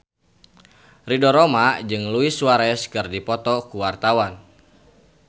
Ridho Roma jeung Luis Suarez keur dipoto ku wartawan